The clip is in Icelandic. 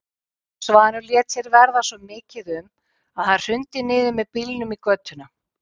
Svanur lét sér verða svo mikið um að hann hrundi niður með bílnum í götuna.